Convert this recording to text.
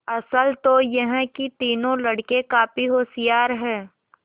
असल तो यह कि तीनों लड़के काफी होशियार हैं